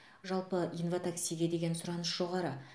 жалпы инватаксиге деген сұраныс жоғары